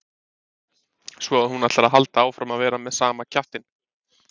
Svo að þú ætlar að halda áfram að vera með sama kjaftinn!